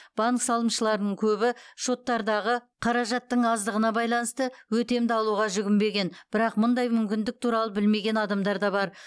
банк салымшыларының көбі шоттардағы қаражаттың аздығына байланысты өтемді алуға жүгінбеген бірақ мұндай мүмкіндік туралы білмеген адамдар да бар